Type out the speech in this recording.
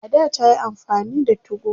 a da tayi amfani da 2go